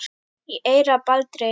í eyra Baldri